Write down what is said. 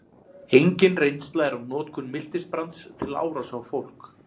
engin reynsla er af notkun miltisbrands til árása á fólk